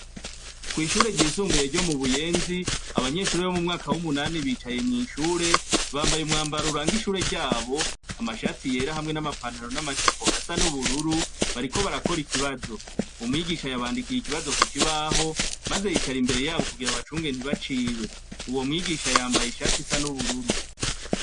kw'ishure ryisumbuye ryo mu buyenzi abanyeshuri bo mumwaka w'umunani bicaye mu ishure. Bambaye umwambaro uranga ishure ryabo amashati yera hamwe n'amapantaro n'amajipo asa n'ubururu bariko barakora ikibazo .Uwo mwigisha yabandikiye ikibazo ku kibaho maze yicara imbere yabo kugira abacunge ntibacibe uwo mwigisha yambaye ishati isa n'ubururu.